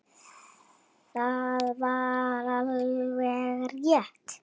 Það var alveg rétt.